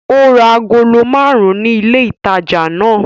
Ó ra agolo márùn-ún ní ilé-ìtajà náà.